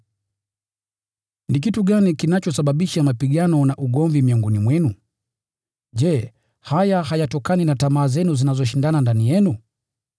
Ni kitu gani kinachosababisha mapigano na ugomvi miongoni mwenu? Je, haya hayatokani na tamaa zenu zinazoshindana ndani yenu?